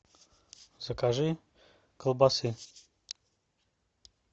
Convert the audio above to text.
закажи колбасы